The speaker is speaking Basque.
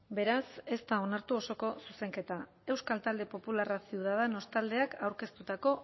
beraz ez da onartu osoko zuzenketa euskal talde popularra ciudadanos taldeak aurkeztutako